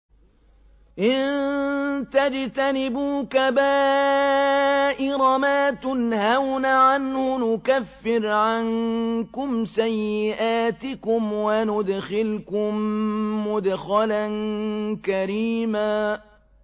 إِن تَجْتَنِبُوا كَبَائِرَ مَا تُنْهَوْنَ عَنْهُ نُكَفِّرْ عَنكُمْ سَيِّئَاتِكُمْ وَنُدْخِلْكُم مُّدْخَلًا كَرِيمًا